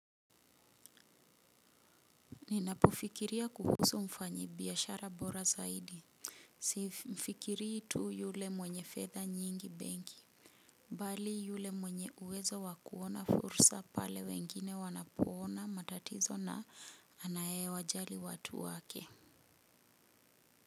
Ninapofikiria kuhusu mfanyi biashara bora zaidi simfikiri tu yule mwenye fedha nyingi benki bali yule mwenye uwezo wa kuona fursa pale wengine wanapoona matatizo na anaye wajali watu wake.